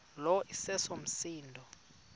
lo iseso msindo